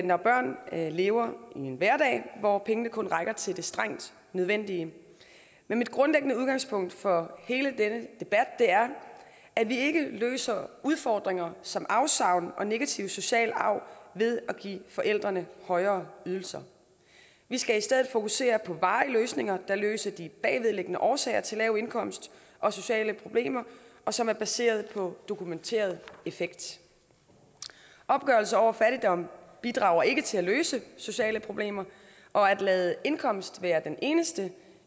når børn lever i en hverdag hvor pengene kun rækker til det strengt nødvendige men mit grundlæggende udgangspunkt for hele denne debat er at vi ikke løser udfordringer som afsavn og negativ social arv ved at give forældrene højere ydelser vi skal i stedet fokusere på varige løsninger der løser de bagvedliggende årsager til lav indkomst og sociale problemer og som er baseret på en dokumenteret effekt opgørelser over fattigdom bidrager ikke til at løse sociale problemer og at lade indkomst være den eneste